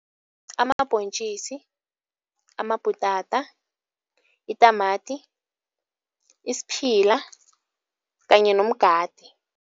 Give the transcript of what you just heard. Amabhontjisi, amabhutata, itamati, isiphila kanye nomgade.